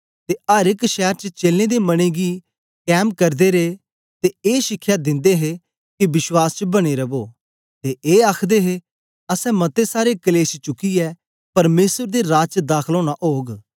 ते अर एक शैर च चेलें दे मनें गी कैम करदे रे ते ए शिखया दिंदे हे के विश्वास च बने रवो ते ए आखदे हे असैं मते सारे कलेश चुकियै परमेसर दे राज च दाखल ओना ओग